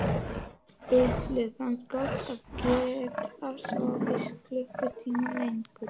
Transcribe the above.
Lillu fannst gott að geta sofið klukkutíma lengur.